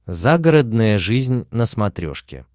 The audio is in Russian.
загородная жизнь на смотрешке